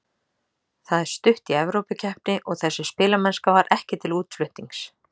Það er stutt í Evrópukeppni og þessi spilamennska var ekki til útflutnings.